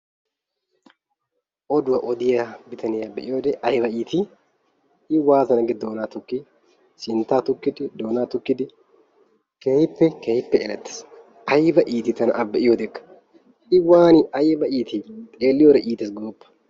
Oduwa odiyaa bitaniyaa be'iyode aybba iiti! I waattana gi doonaa tukki! sintta tukkidi doona tukkidi keehippe keehippe elettees. Aybba iiti tana a be'iyoodekka I waana aybba iiti xeeliyoode iittees goopa!